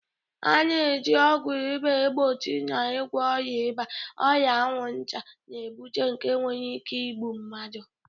A na-eji ọgwụ ịba egbochi na ịgwọ ọrịa ịba, ọrịa anwụnta na-ebute nke nwere ike igbu mmadụ.